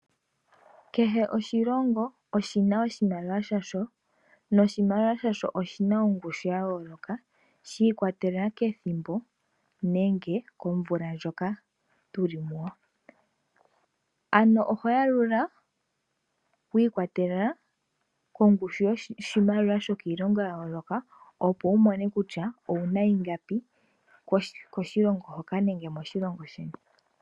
Kehe oshilongo oshina oshimaliwa shasho, noshimaliwa shono oshina ongushu ya yooloka. Shi ikwatelela kethimbo nenge komvula ndjoka tuli muyo, ano oho yalula shiikwatelela kongushu yoshimaliwa shokiilongo ya yooloka, opo wumone kutya owuna ongapi koshilongo hoka nenge moshilongo moka.